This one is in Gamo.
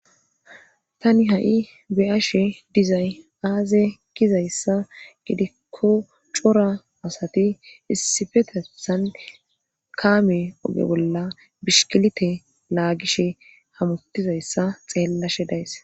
tani ha7i beyashe dizay aaze kizayssa gidikko cora asati issifetesan kaame oge bolla bishkilite laagishe hamutizayssa xeellashe days